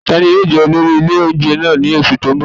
Ta ni yóò jẹ olórí ilé oúnjẹ náà ní oṣù tó ń bọ̀?